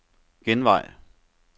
genvej